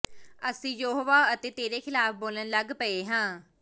ਅਸੀਂ ਯਹੋਵਾਹ ਅਤੇ ਤੇਰੇ ਖਿਲਾਫ਼ ਬੋਲਣ ਲੱਗ ਪਏ ਹਾਂ